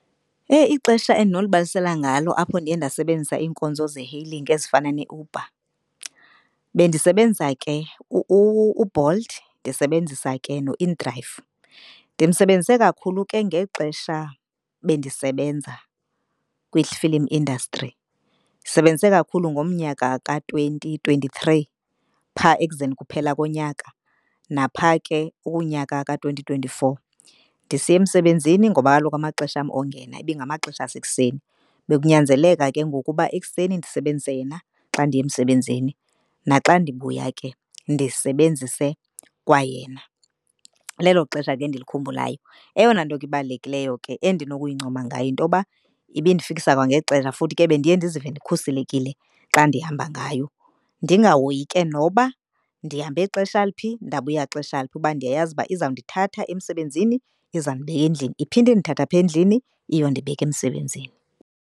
Heyi, ixesha endinonibalisela ngalo apho ndiye ndasebenzisa iinkonzo ze-hailing ezifana neUber bendisebenza ke uBolt ndisebenzisa ke no-inDrive. Ndimsebenzise kakhulu ke ngexesha bendisebenza kwi-film industry. Ndisebenze kakhulu ngomnyaka ka-twenty twenty-three phaa ekuzeni kuphela konyaka. Napha ke kunyaka ka-twenty twenty-four ndisiya emsebenzini ngoba kaloku amaxesha am ongena ibingamaxesha asekuseni. Bekunyanzeleka ke ngoku uba ekuseni ndisebenzise yena xa ndiye emsebenzini naxa ndibuya ke ndisebenzise kwayena. Lelo xesha ke endilikhumbulayo. Eyona nto ibalulekileyo ke endinokuyincoma ngayo yintoba ibindifikisa kwangexesha futhi ke bendiye ndizive ndikhuselekile xa ndihamba ngayo. Ndingahoyi ke noba ndihambe xesha liphi, ndabuya xesha liphi kuba ndiyazi uba izandithatha emsebenzini izawundibeka endlini. Iphinde indithathe apha endlini iyondibeka emsebenzini.